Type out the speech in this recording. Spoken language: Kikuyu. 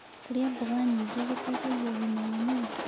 Kũrĩa mmboga nyĩngĩ gũteĩthagĩa ũgima wa mwĩrĩ